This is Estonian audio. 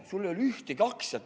Mul ei olnud ka ühtegi aktsiat.